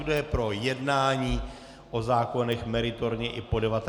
Kdo je pro jednání o zákonech meritorně i po 19. hodině?